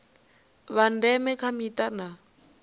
vha ndeme kha mita na